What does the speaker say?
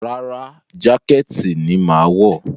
Rárá, jákẹ́ẹ̀tì ni màá wọ̀